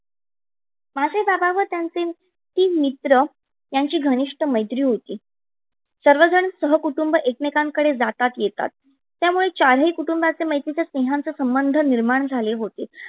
माझे बाबा व त्यांचे तीन मित्र यांची घनिष्ट मेत्री होती. सर्वजन सहकुटुंब एकमेकांकडे जातात येतात. त्यामुळे चारही कुटुंबाचे मैत्रीचे, स्नेहाचे संबंध निर्माण झाले होते.